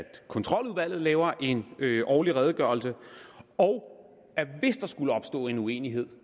kontroludvalget laver en årlig redegørelse og hvis der skulle opstå en uenighed